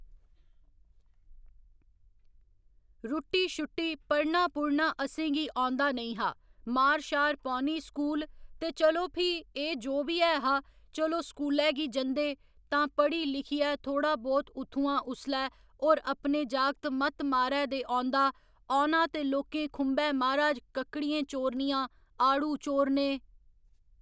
रुट्टी शुट्टी पढ़ना पूढ़ना असेंगी औंदा नेईं हा मार शार पौनी स्कूल ते चलो फ्ही एह् जो बी ऐ हा चलो स्कूलै गी जंदे तां पढ़ी लिखियै थोड़ा बोह्‌त उत्थुआं उसलै होर अपने जागत मत्त मारै दे औंदा औना ते लोकें खुंभै म्हाराज कक्कड़ियें चोरनियां आड़ू चोरने